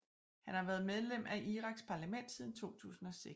Han var været medlem af Iraks parlament siden 2006